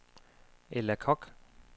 Ella Koch